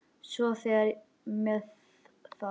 Svona þegar með þarf.